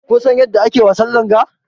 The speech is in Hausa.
Kusan yadda ake wasan langa?